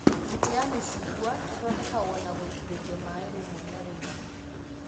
Mĩtĩ ya mĩcungwa ĩthondekagwo na gũitĩrĩrio maĩ rĩmwe na rĩmwe